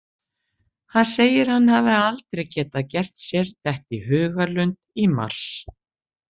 Hann segir að hann hafi aldrei getað gert sér þetta í hugarlund í mars.